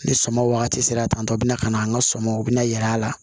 Ni sɔmɔ wagati sera tan tɔ o bɛna ka na an ka sɔmɔ u bɛna yɛl'a la